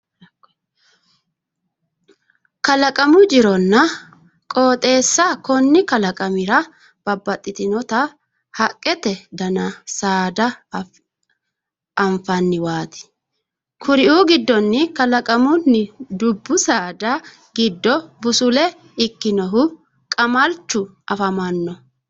Kalaqamu jironna qooxeessa konni kalaqamira babbaxinota haqqete dananna saada anfanniwaati. Hakkuri giddonni kalaqamunni dubbu saada giddo busule ikkinohu qamalchu afamanno.